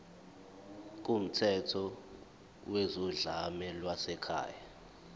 kumthetho wezodlame lwasekhaya